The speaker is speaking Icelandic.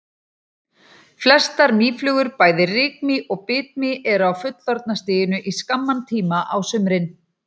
Flestar mýflugur, bæði rykmý og bitmý eru á fullorðna stiginu í skamman tíma á sumrin.